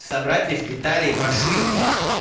собрать из деталей машинку